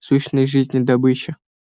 сущность жизни добыча